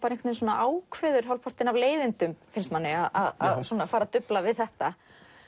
ákveður hálfpartinn af leiðindum að fara að dufla við þetta